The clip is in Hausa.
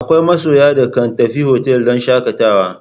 Akwai masoya da kan tafi otal don shakatawa.